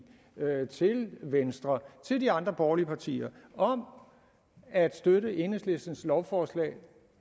venstre og de andre borgerlige partier at støtte enhedslistens lovforslag